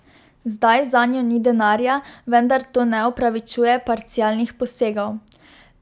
Zdaj zanjo ni denarja, vendar to ne opravičuje parcialnih posegov.